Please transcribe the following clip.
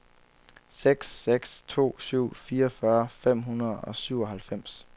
seks seks to syv fireogfyrre fem hundrede og syvoghalvfems